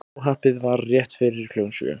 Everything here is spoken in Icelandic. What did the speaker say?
Óhappið varð rétt fyrir klukkan sjö